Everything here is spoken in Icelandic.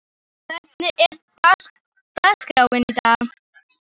Antoníus, hvernig er dagskráin í dag?